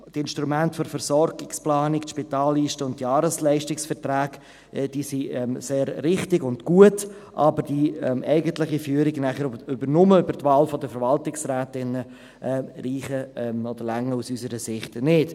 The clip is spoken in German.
Die Instrumente der Versorgungsplanung, die Spitalliste und die Jahresleistungsverträge, sind sehr richtig und gut, aber die eigentliche Führung nur über die Wahl der Verwaltungsrätinnen und Verwaltungsräte reicht aus unserer Sicht nicht.